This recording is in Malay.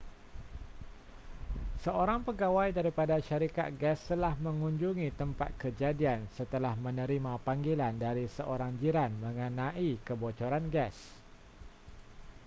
seorang pegawai daripada syarikat gas telah mengunjungi tempat kejadian setelah menerima panggilan dari seorang jiran mengenai kebocoran gas